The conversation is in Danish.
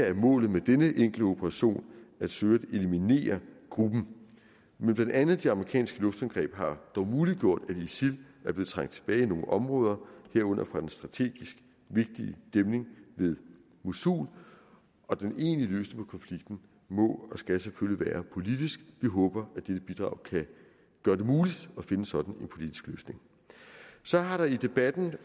er målet med denne enkle operation at søge at eliminere gruppen men blandt andet de amerikanske luftangreb har dog muliggjort at isil er blevet trængt tilbage i nogle områder herunder fra den strategisk vigtige dæmning ved mosul den egentlige løsning på konflikten må og skal selvfølgelig være politisk vi håber at dette bidrag kan gøre det muligt at finde en sådan politisk løsning så har der i debatten